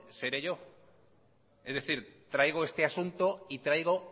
seré yo es decir traigo este asunto y traigo